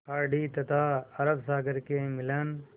खाड़ी तथा अरब सागर के मिलन